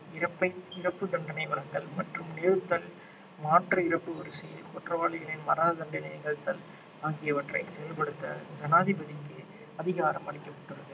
இறப்பை இறப்பு தண்டனை வழங்கல் மற்றும் நிறுத்தல் மாற்று இறப்பு வரிசையில் குற்றவாளிகளின் மரண தண்டனை நிகழ்த்தல் ஆகியவற்றை செயல்படுத்த ஜனாதிபதிக்கு அதிகாரம் அளிக்கப்பட்டுள்ளது